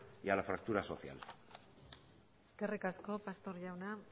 y a la fractura social eskerrik asko pastor jauna